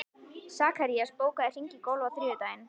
Sakarías, bókaðu hring í golf á þriðjudaginn.